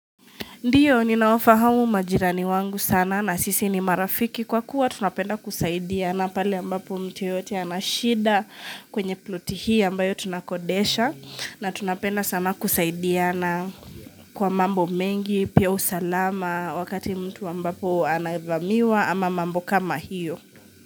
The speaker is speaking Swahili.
Ndiyo, ninawafahamu majirani wangu sana na sisi ni marafiki kwa kuwa tunapenda kusaidia na pale ambapo mtu yeyote anashida kwenye ploti hii ambayo tunakodesha na tunapenda sana kusaidiana kwa mambo mengi, pia usalama wakati mtu ambapo anavamiwa ama mambo kama hiyo.